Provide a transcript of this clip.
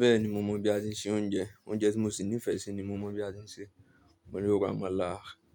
Bẹ́ẹ̀ni mo mọ bí a ṣe ń se oúnjẹ, oúnjẹ tí mo sì nífẹ̀ẹ́ sí ni mo mọ bí a ṣe ń ṣe. Mo lè ro amala,